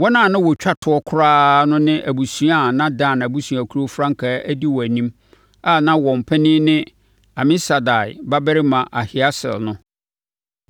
Wɔn a na wɔtwa toɔ koraa no ne abusuakuo a na Dan abusuakuo frankaa di wɔn anim a na wɔn panin ne Amisadai babarima Ahieser no.